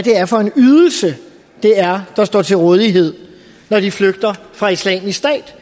det er der står til rådighed når de flygter fra islamisk stat